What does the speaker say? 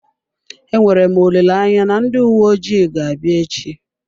Enwere m olileanya na ndị uwe ojii ga-abịa echi.